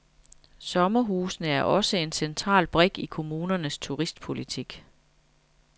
Sommerhusene er også en central brik i kommunernes turistpolitik.